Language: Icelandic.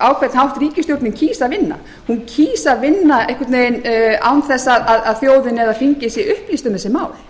á hvern hátt ríkisstjórnin kýs að vinna hún kýs að vinna án þess að þjóðin eða þingið sé upplýst um þessi mál það er